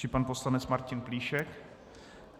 Či pan poslanec Martin Plíšek?